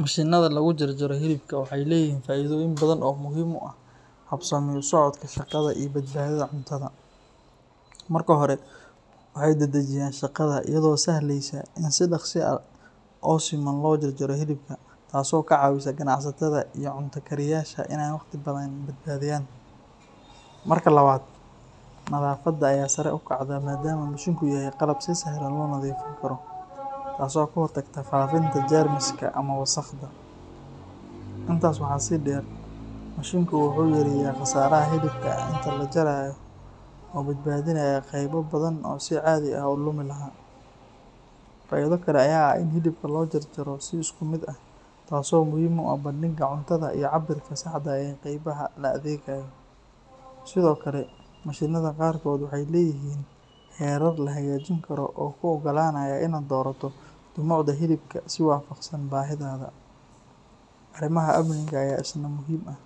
Mashiinnada lagu jarjaro hilibka waxay leeyihiin faa’iidooyin badan oo muhiim u ah habsami u socodka shaqada iyo badbaadada cuntada. Marka hore, waxay dedejiyaan shaqada iyadoo sahleysa in si dhaqso ah oo siman loo jaro hilibka, taasoo ka caawisa ganacsatada iyo cunto kariyayaasha inay waqti badan badbaadiyaan. Marka labaad, nadaafadda ayaa sare u kacda maadaama mashiinku yahay qalab si sahlan loo nadiifin karo, taasoo ka hortagta faafitaanka jeermiska ama wasakhda. Intaas waxaa sii dheer, mashiinku wuxuu yareeyaa khasaaraha hilibka inta la jarayo oo badbaadinaya qaybo badan oo si caadi ah lumi lahaa. Faa’iido kale ayaa ah in hilibka loo jarayo si isku mid ah, taasoo muhiim u ah bandhigga cuntada iyo cabbirka saxda ah ee qaybaha la adeegayo. Sidoo kale, mashiinnada qaarkood waxay leeyihiin heerar la hagaajin karo oo kuu oggolaanaya inaad doorato dhumucda hilibka si waafaqsan baahidaada. Arrimaha amniga ayaa isna muhiim ah,